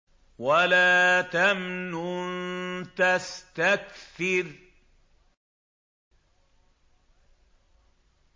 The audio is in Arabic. وَلَا تَمْنُن تَسْتَكْثِرُ